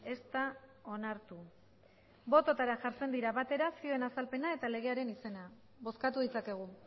ez da onartu bototara jartzen dira batera zioen azalpena eta legearen izena bozkatu ditzakegu